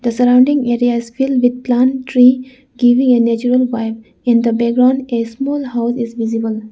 The surrounding areas filled with plan tree giving a natural vibe. In the background a small house is visible.